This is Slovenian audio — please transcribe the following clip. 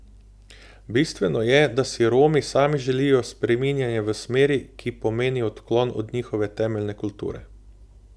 Bistveno je, da si Romi sami želijo spreminjanje v smeri, ki pomeni odklon od njihove temeljne kulture.